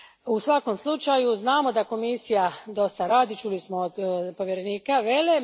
U svakom slučaju, znamo da Komisija dosta radi. Čuli smo to od povjerenika Velle.